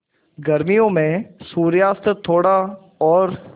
गर्मियों में सूर्यास्त थोड़ा और